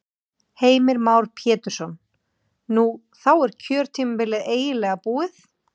Heimir Már Pétursson: Nú, þá er kjörtímabilið eiginlega búið?